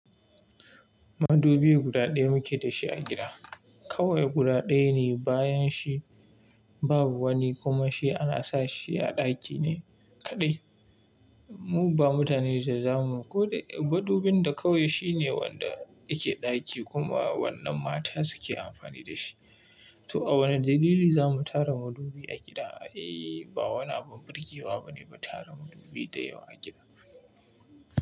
Madubi guda ɗaya muke da shi a gida. Kawai guda daya ne, bayan shi babu wani kuma shi ana sa shi a ɗaki ne kaɗai. Mu ba mutane za zamu, koda madubin da kawai shine wanda yake ɗaki kuma wannan mata suke amfani da shi. To a wani dalili za mu tara madubi a gida? Eh ba wani abin birgewa bane ba tara madubi da yawa a gida.